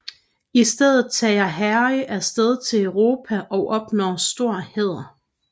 I stedet tager Harry af sted til Europa og opnår stor hæder